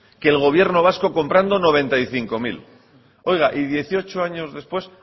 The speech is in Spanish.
que el gobierno vasco comprando noventa y cinco mil oiga y dieciocho años después